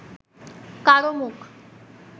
কারও মুখ